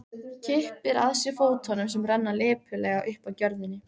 Kippir að sér fótunum sem renna lipurlega upp að gjörðinni.